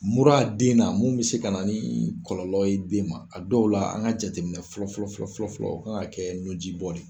Mura den na mun bi se ka na ni kɔlɔlɔ ye den ma, a dɔw la an ka jateminɛ fɔlɔ fɔlɔ fɔlɔ, o kan ka kɛ nuji bɔ de ye.